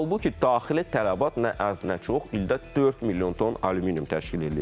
Halbuki daxili tələbat nə az, nə çox, ildə 4 milyon ton alüminium təşkil eləyir.